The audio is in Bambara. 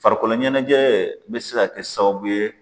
Farikolo ɲɛnajɛ bɛ se ka kɛ sababu ye